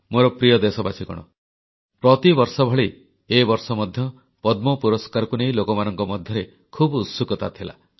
ମୋର ପ୍ରିୟ ଦେଶବାସୀଗଣ ପ୍ରତିବର୍ଷ ଭଳି ଏ ବର୍ଷ ମଧ୍ୟ ପଦ୍ମ ପୁରସ୍କାରକୁ ନେଇ ଲୋକମାନଙ୍କ ମଧ୍ୟରେ ଖୁବ୍ ଉତ୍ସୁକତା ଥିଲା